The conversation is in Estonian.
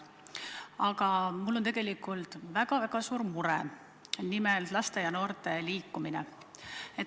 Aga mul on tegelikult väga-väga suur mure, nimelt laste ja noorte vähene liikumine.